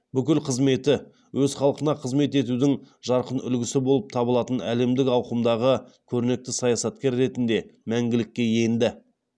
бүкіл қызметі өз халқына қызмет етудің жарқын үлгісі болып табылатын әлемдік ауқымдағы көрнекті саясаткер ретінде мәңгілікке енді